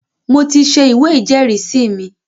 mo ti se “ ìwé ìjẹ́rìísí” mi.